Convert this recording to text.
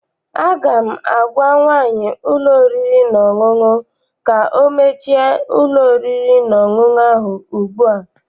Aga m agwa nwaanyị ụlọ oriri na ọṅụṅụ ka ọ mechie ụlọ oriri na ọṅụṅụ ahụ ugbu a!